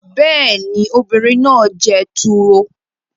Bẹ́ẹ̀ ni, obìnrin náà jẹ turo